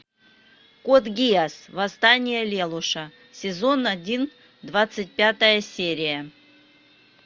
код гиас восстание лелуша сезон один двадцать пятая серия